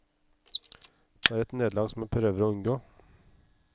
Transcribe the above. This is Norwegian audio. Det er et nederlag som jeg prøver å unngå.